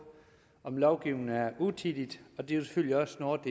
om lovgivningen er utidig og det er jo selvfølgelig også noget af